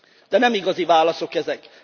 De nem igazi válaszok ezek.